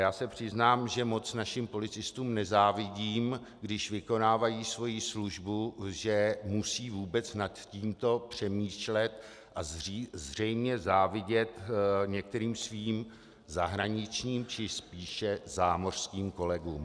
Já se přiznám, že moc našim policistům nezávidím, když vykonávají svoji službu, že musí vůbec nad tímto přemýšlet a zřejmě závidět některým svým zahraničním, či spíše zámořským kolegům.